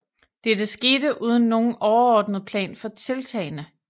Dette skete uden nogen overordnet plan for tiltagene